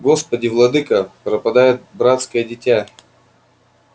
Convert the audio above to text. господи владыко пропадёт братское дитя